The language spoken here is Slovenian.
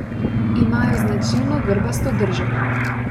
Imajo značilno grbasto držo.